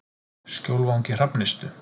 Skjólvangi Hrafnistu